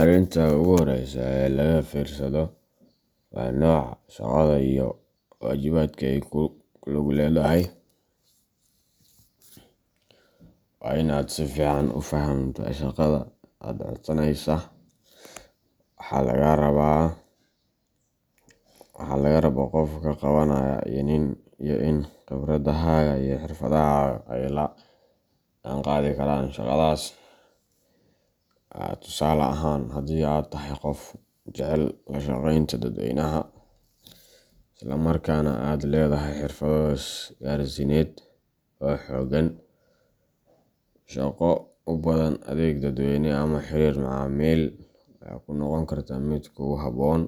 Arrinta ugu horreysa ee laga fiirsado waa nooca shaqada iyo waajibaadka ay ku lug leedahay. Waa in aad si fiican u fahamtaa shaqada aad codsanayso, waxa laga rabo qofka qabanaya, iyo in khibradahaaga iyo xirfadahaaga ay la jaanqaadi karaan shaqadaas. Tusaale ahaan, haddii aad tahay qof jecel la shaqeynta dadweynaha, isla markaana aad leedahay xirfado isgaarsiineed oo xooggan, shaqo u baahan adeeg dadweyne ama xiriir macaamiil ayaa kuu noqon karta mid kugu habboon,